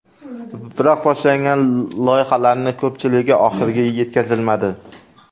Biroq boshlangan loyihalarning ko‘pchiligi oxiriga yetkazilmadi.